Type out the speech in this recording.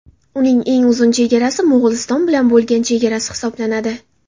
Uning eng uzun chegarasi Mo‘g‘uliston bilan bo‘lgan chegarasi hisoblanadi.